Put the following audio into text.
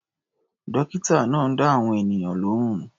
Dọ́kítà náà ń dá àwọn ènìyàn lóhùn.